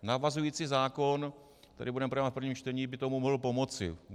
Navazující zákon, který budeme projednávat v prvém čtení, by tomu mohl pomoci.